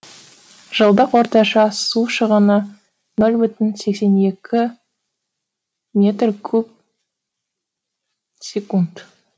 жылдық орташа су шығыны нөл бүтін сексен екі метр куб секунд